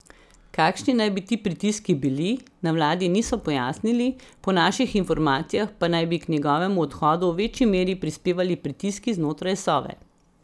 Kakšni naj bi ti pritiski bili, na vladi niso pojasnili, po naših informacijah pa naj bi k njegovemu odhodu v večji meri prispevali pritiski znotraj Sove.